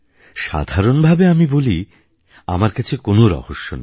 সাধারণভাবে আমি বলি আমার কাছে কোনো রহস্য নেই